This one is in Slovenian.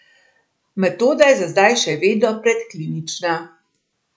Metoda je za zdaj še vedno predklinična.